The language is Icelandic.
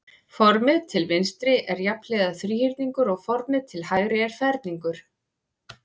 Formið til vinstri er jafnhliða þríhyrningur og formið til hægri er ferningur.